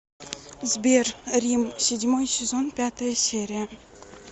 сбер рим седьмой сезон пятая серия